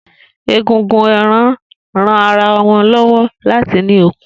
Egungun ń ran ẹran ara lọ́wọ́ láti ní okun